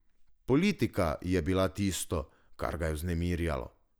Politika je bila tisto, kar ga je vznemirjalo.